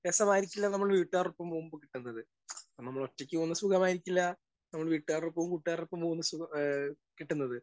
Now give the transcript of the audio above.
Speaker 1 രാസമായിരിക്കില്ല നമ്മൾ വീട്ടുകാരോടൊപ്പം പോകുമ്പോൾ കിട്ടുന്നത്. നമ്മള് ഒറ്റക്ക് പോകുന്ന സുഖമായിരിക്കില്ല നമ്മൾ വീട്ടുകാരടൊപ്പവും, കൂട്ടുകാരടൊപ്പവും പോകുന്ന സുഖ ആ കിട്ടുന്നത്.